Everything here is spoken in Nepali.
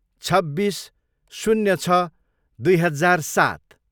छब्बिस, शून्य छ, दुई हजार सात